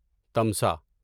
تمسا